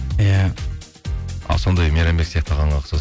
иә сондай мейрамбек сияқты ағаңа